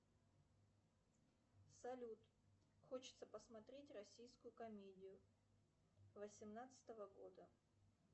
салют хочется посмотреть российскую комедию восемнадцатого года